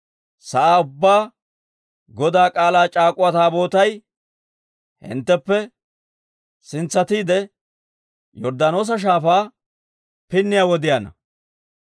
sa'aa ubbaa Godaa K'aalaa c'aak'uwa Taabootay hintteppe sintsatiide, Yorddaanoosa Shaafaa pinniyaa wodiyaanna.